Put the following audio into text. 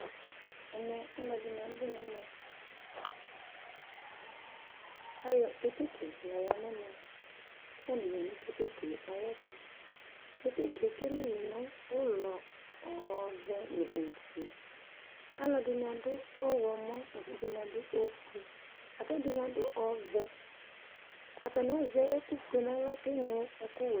Ɛmɛ alʋ ɛdɩnɩ abʋ nɛmɛKayɔ keteke yɔ lɛ nɛmɛ, katanɩ ya nʋ keteke ayɛtʋKeteke ekele yɩ nʋ ʋlɔ ɔvɛ nʋ ofueAlʋ ɛdɩnɩ adʋ ɔɣlɔmɔ, ɛdɩnɩ adʋ ofue, akɛdɩnɩ adʋ ɔvɛAtanɩ azɛ ɛkʋ fue naɣla keŋlo ɛkʋ wɛ